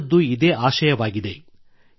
ಎಲ್ಲರದ್ದೂ ಇದೇ ಆಶಯವಾಗಿದೆ